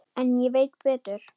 En ég veit betur.